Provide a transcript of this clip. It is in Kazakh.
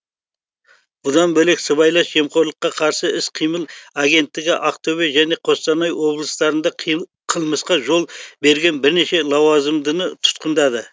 бұдан бөлек сыбайлас жемқорлыққа қарсы іс қимыл агенттігі ақтөбе және қостанай облыстарында қылмысқа жол берген бірнеше лауазымдыны тұтқындады